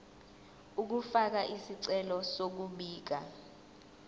ukufaka isicelo sokubika